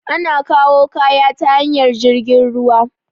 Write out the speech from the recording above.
Ana kawu kaya ta hanyar jirgin ruwa